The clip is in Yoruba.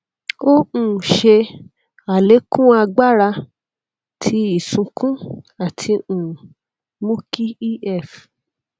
o um ṣe alekun agbara ti isunkun ati um mu ki ef